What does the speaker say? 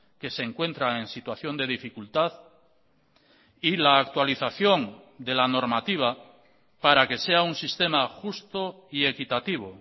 que se encuentran en situación de dificultad y la actualización de la normativa para que sea un sistema justo y equitativo